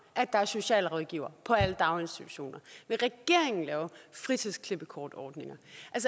at der er socialrådgivere på alle daginstitutioner vil regeringen lave fritidsklippekortordninger